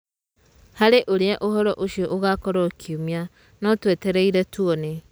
Harĩ ũrĩa ũhoro ũcio ũgakorwo kiumia, no twetereire tuone.